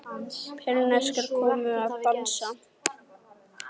Persneskar konur að dansa.